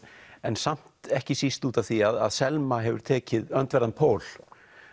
en samt ekki síst út af því að Selma hefur tekið öndverðan pól